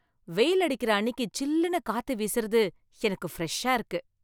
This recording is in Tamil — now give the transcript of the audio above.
வெயில் அடிக்கிற அன்னிக்கு சில்லுனு காத்து வீசுறது எனக்கு ஃப்ரெஷா இருக்கு